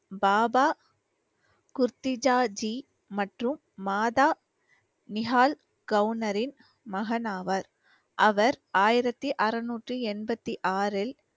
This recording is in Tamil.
பாபா குர்த்திஜாஜி மற்றும் மாதா நிஹால் கவுனரின் மகனாவார். அவர் ஆயிரத்தி அறநூற்றி என்பத்தி ஆறில்